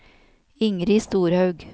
Ingrid Storhaug